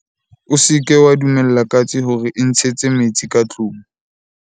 o se ke wa dumella katse hore e ntshetse metsi ka tlong